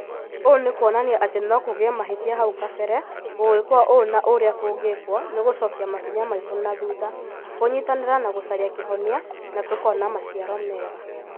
Ūũ nĩkuonania ati nokũgĩe mahĩtia hau kabere gũgĩkwo ũũ na ũrĩa kũngĩkwo nĩgũcokia makinya maitũ nathutha, kũnyitanĩra na gũcaria kĩhonia na tũkona maciaro mega